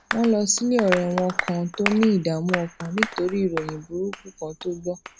wón lọ sílé òré wọn kan tó ní ìdààmú ọkàn nítorí ìròyìn burúkú kan tó gbó